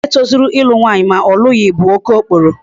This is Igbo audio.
Nwoke tozuru ịlụ nwaanyị ma ọ lụghị bụ okokporo.